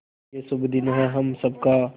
ये शुभ दिन है हम सब का